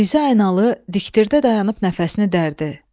Diz aynalı diktirə dayanıb nəfəsini dərdi.